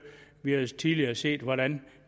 vi har jo tidligere set hvordan